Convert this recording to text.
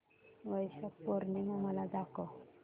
वैशाख पूर्णिमा मला दाखव